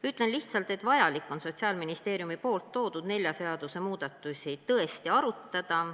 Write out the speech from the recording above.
Ütlen lihtsalt, et Sotsiaalministeeriumi toodud nelja seaduse muudatusi on vaja tõesti arutada.